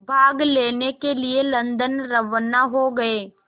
भाग लेने के लिए लंदन रवाना हो गए